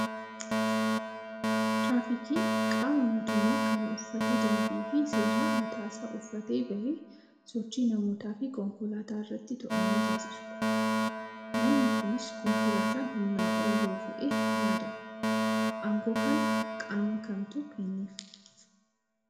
Tiraafikiin qaama mootummaa kan uffata dambii fi seeraa mataa isaa uffatee bahee sochii namootaa fi konkolaataa irratti to'annoo taasisudha. Namni kunis konkolaataan humnaa ol yoo fe'e ni adaba. Aangoo kana qaama kamtu kenneef?